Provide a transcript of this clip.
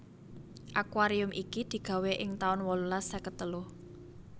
Akuarium iki digawé ing taun wolulas seket telu